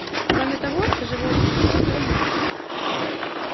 кроме того это живое существо было мясо